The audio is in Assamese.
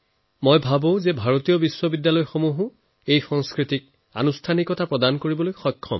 মই ধাৰণা কৰো যে ভাৰতৰ বিশ্ববিদ্যালয়েও এই সংস্কৃতিক ইনষ্টিটিউচনেলাইজড কৰিবলৈ সক্ষম